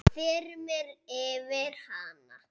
Það þyrmir yfir hana.